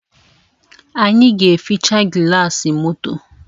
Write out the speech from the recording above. Anyị ga-eficha gịlasị moto